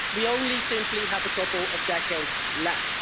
We only simply have a couple of decades left.